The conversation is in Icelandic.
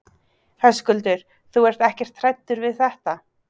Höskuldur: Þú ert ekkert hræddur við þetta?